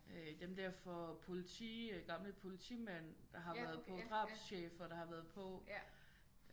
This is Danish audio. Dem der for politi øh gamle politimænd der har været på drabschefer der har været på